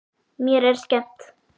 Mér er skemmt.